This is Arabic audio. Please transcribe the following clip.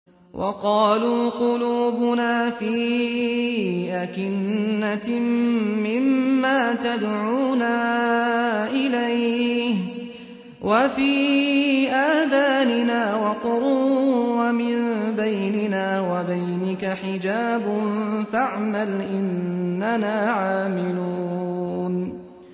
وَقَالُوا قُلُوبُنَا فِي أَكِنَّةٍ مِّمَّا تَدْعُونَا إِلَيْهِ وَفِي آذَانِنَا وَقْرٌ وَمِن بَيْنِنَا وَبَيْنِكَ حِجَابٌ فَاعْمَلْ إِنَّنَا عَامِلُونَ